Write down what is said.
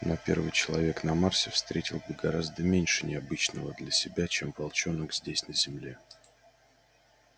но первый человек на марсе встретил бы гораздо меньше необычного для себя чем волчонок здесь на земле